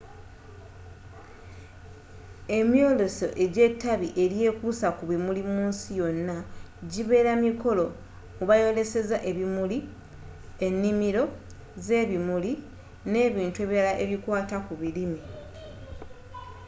emyooleso egya etabbi elyekuusa ku bimuli mu nsi yonna gyibeera mikolo mwebayolesezza ebimuli e'nnimiro z'ebimuli n'ebintu ebirala ebikwata ku birime